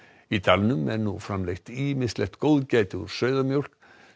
í dalnum er nú framleitt ýmislegt góðgæti úr sauðamjólk